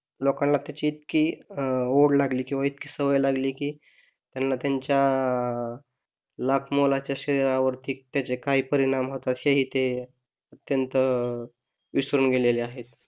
लोंकाना त्याची इतकी अं ओढ लागली किंवा इतकी सवय लागली कि त्यांना, त्यांच्या लाख मोलाच्या शरीरवरती त्याचे काही परीणाम होतात हेही ते त्यांचे विसरून गेलेले आहेत.